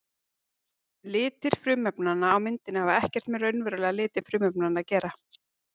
Litir frumefnanna á myndinni hafa ekkert með raunverulega liti frumefnanna að gera.